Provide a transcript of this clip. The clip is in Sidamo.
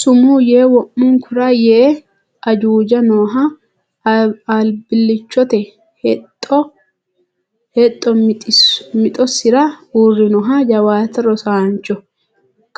Sumuu yee wo’munkura see Ajuuja nooho albillichote hexxo mixosira uurrinoho Jawaate rosannoho,